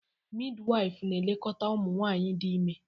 Midwife na-elekọta ụmụ nwanyị dị ime